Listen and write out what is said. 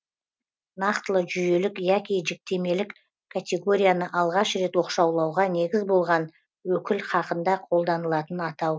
нақтылы жүйелік яки жіктемелік категорияны алғаш рет оқшаулауға негіз болған өкіл хақында қолданылатын атау